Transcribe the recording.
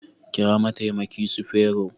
Kira mataimaki sufero